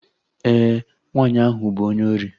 Ee, nwaanyị ahụ bụ onye ori